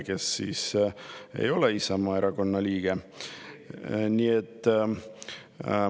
Tema ei ole Isamaa Erakonna liige.